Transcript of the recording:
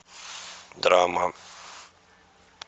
драма